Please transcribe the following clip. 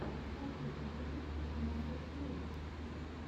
хочу увидеть наотатьюб